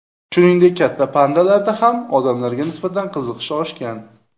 Shuningdek, katta pandalarda ham odamlarga nisbatan qiziqish oshgan.